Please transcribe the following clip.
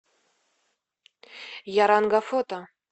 яранга фото